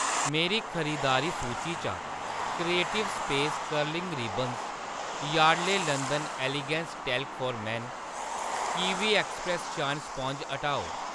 मेरी खरीदारी सूची चा creative space curling ribbons, Yardley London elegance talc for men ते कीवी एक्सप्रैस्स शाइन स्पांज हटाओ।